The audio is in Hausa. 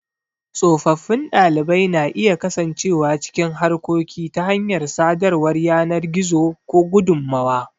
Tsofaffin ɗalibai na iya kasancewa cikin harkoki ta hanyar sadarwar yanar gizo ko gudummawa.